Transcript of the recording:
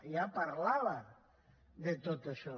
ja parlava de tot això